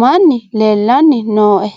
manni leelanni nooe.